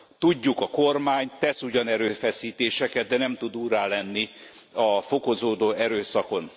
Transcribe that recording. Tudjuk, a kormány tesz ugyan erőfeszítéseket, de nem tud úrrá lenni a fokozódó erőszakon.